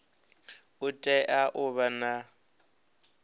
u tea u vha na